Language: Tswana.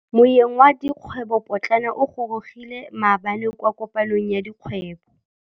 Moêng wa dikgwêbô pôtlana o gorogile maabane kwa kopanong ya dikgwêbô.